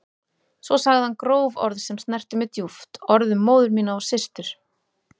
Svo sagði hann gróf orð sem snertu mig djúpt, orð um móður mína og systur.